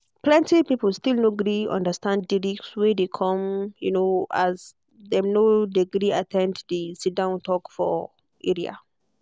plenty people still no gree understand di risk wey de come um as dem no de gree at ten d de sit-down talk for area